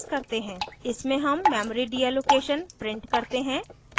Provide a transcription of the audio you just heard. इसमें हम memory deallocation print करते हैं